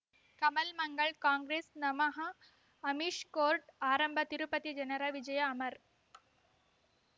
ಕಮಲ್ ಮಂಗಳ್ ಕಾಂಗ್ರೆಸ್ ನಮಃ ಅಮಿಷ್ ಕೋರ್ಟ್ ಆರಂಭ ತಿರುಪತಿ ಜನರ ವಿಜಯ ಅಮರ್